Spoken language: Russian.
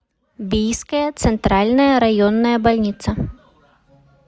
бийская центральная районная больница